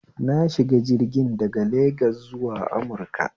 Na shiga jirgin daga Legas zuwa Amuruka